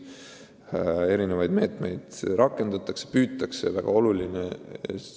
Rakendatakse erinevaid meetmeid, kusjuures püütakse – see on väga oluline!